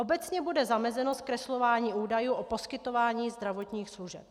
Obecně bude zamezeno zkreslování údajů o poskytování zdravotních služeb.